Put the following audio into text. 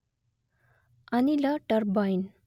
ಅನಿಲ ಟರ್ಬೈನ್